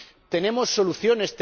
Tenemos soluciones.